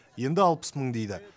енді алпыс мың дейді